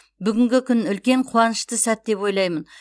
бүгінгі күн үлкен қуанышты сәт деп ойлаймын